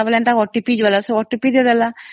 ତା ପରେ OTP ଆସିଲା ସେ ଦେଇଦେଲା